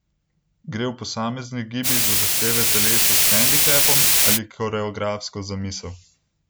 Gre v posameznih gibih za zahteve telesa s hendikepom ali koreografsko zamisel?